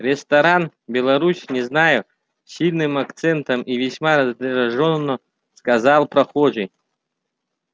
ресторан беларусь не знаю с сильным акцентом и весьма раздражённо сказал прохожий